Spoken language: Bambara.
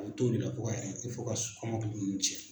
A bɛ t'o de la fo ka fo ka kɔmɔkili nun cɛn.